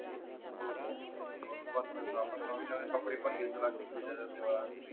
हो हो आपण नवीन नवीन कपडे घेतो लक्ष्मी पूजनाचा दिवस